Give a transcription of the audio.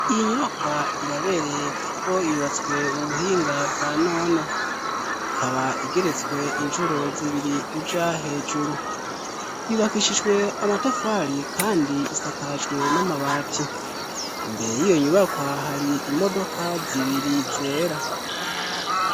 Iyo nyubakwa irabereye kuko yubatswe mu buhinga bwa none ikaba igeretswe incuro zibiri uja hejuru, yibakishijwe amatafari kandi isakajwe n'amabati. Imbere y'iyo nyubakwa hari imodoka zibiri zera.